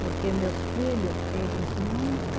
Porque meus filho, eles nunca